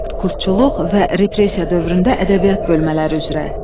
Proletkultçuluq və repressiya dövründə ədəbiyyat bölmələri üzrə.